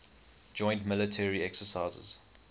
joint military exercises